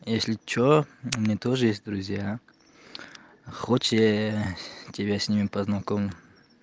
если что мне тоже есть друзья хочешь я тебя с ним познакомлю